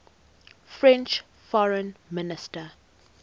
french foreign minister